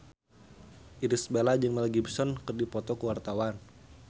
Irish Bella jeung Mel Gibson keur dipoto ku wartawan